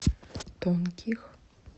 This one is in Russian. тонких